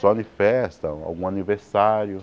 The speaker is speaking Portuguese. Só em festa, algum aniversário.